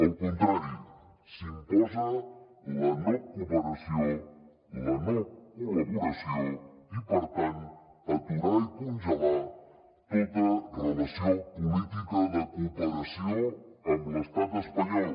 al contrari s’imposa la no cooperació la no col·laboració i per tant aturar i congelar tota relació política de cooperació amb l’estat espanyol